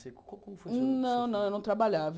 Não, não, eu não trabalhava.